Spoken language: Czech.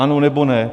Ano, nebo ne?